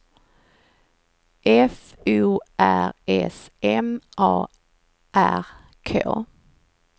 F O R S M A R K